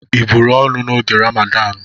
Ị buru ọnụ n'oge Ramadanu?